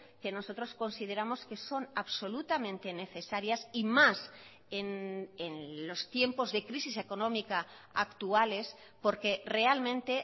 que nosotros consideramos que son absolutamente necesarias y más en los tiempos de crisis económica actuales porque realmente